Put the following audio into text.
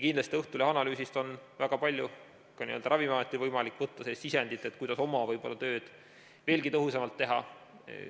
Kindlasti on Õhtulehe analüüsist väga palju ka Ravimiametil võimalik võtta sisendit, kuidas oma tööd veelgi tõhusamalt teha.